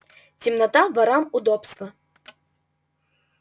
темнота ворам удобство